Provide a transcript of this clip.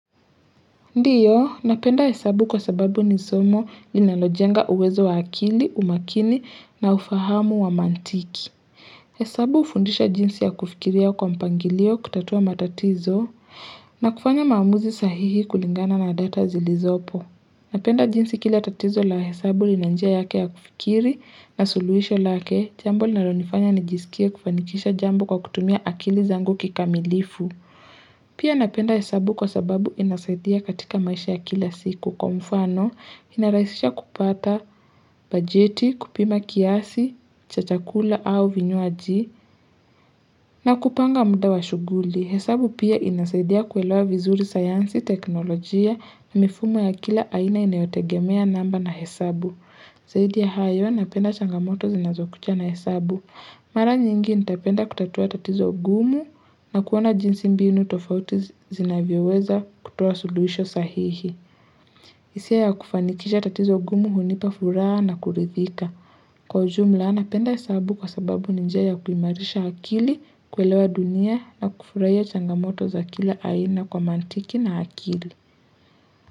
Ndiyo, napenda hesabu kwa sababu ni somo linalojenga uwezo wa akili, umakini na ufahamu wa mantiki. Hesabu hufundisha jinsi ya kufikiria kwa mpangilio kutatua matatizo na kufanya maamuzi sahihi kulingana na data zilizopo. Napenda jinsi kila tatizo la hesabu lina njia yake ya kufikiri na suluhisho lake, jambo linalonifanya nijisikie kufanikisha jambo kwa kutumia akili zangu kikamilifu. Pia napenda hesabu kwa sababu inasaidia katika maisha ya kila siku kwa mfano inarahisisha kupata bajeti, kupima kiasi, cha chakula au vinywaji na kupanga muda wa shughuli. Hesabu pia inasaidia kuelewa vizuri sayansi, teknolojia na mifumo ya kila aina inayotegemea namba na hesabu. Zaidi ya hayo napenda changamoto zinazokuja na hesabu. Mara nyingi nitapenda kutatua tatizo gumu na kuona jinsi mbinu tofauti zinavyoweza kutoa suluhisho sahihi. Hisia ya kufanikisha tatizo gumu hunipa furaha na kuridhika. Kwa ujumla napenda hesabu kwa sababu ni njia ya ya kuimarisha akili, kuelewa dunia na kufurahia changamoto za kila aina kwa mantiki na akili.